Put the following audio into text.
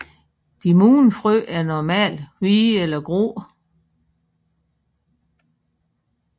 De modne frø er normalt hvide eller grå